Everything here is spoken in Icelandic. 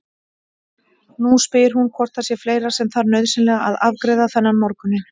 Nú spyr hún hvort það sé fleira sem þarf nauðsynlega að afgreiða þennan morguninn.